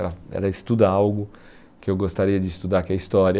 Ela ela estuda algo que eu gostaria de estudar, que é história.